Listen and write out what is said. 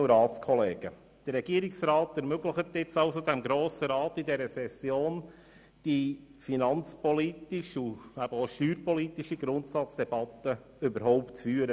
Der Regierungsrat hat dem Grossen Rat in dieser Session ermöglicht, die finanz- und steuerpolitische Debatte überhaupt zu führen.